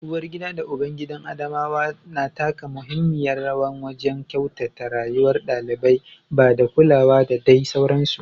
Uwargida da ubangidan Adamawa na taka muhimmiyar rawa wajen kyautata rayuwar ɗalibai, ba da kulawa da dai sauransu.